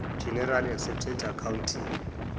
generally accepted accounting